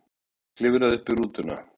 Emil klifraði uppí rútuna.